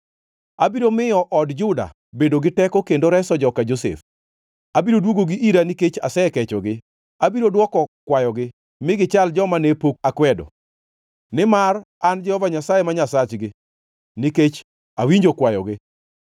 “Abiro miyo od Juda bedo gi teko kendo reso joka Josef. Abiro dwogogi ira nikech asekechogi. Abiro dwoko kwayogi mi gichal joma ne pok akwedo, nimar an Jehova Nyasaye ma Nyasachgi, nikech awinjo kwayogi.